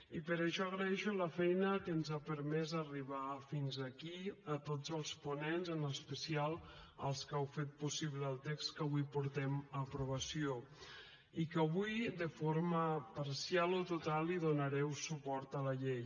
i per això agraeixo la feina que ens ha permès arribar fins aquí a tots els ponents en especial als que heu fet possible el text que avui portem a aprovació i que avui de forma parcial o total donareu suport a la llei